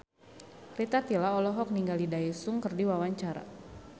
Rita Tila olohok ningali Daesung keur diwawancara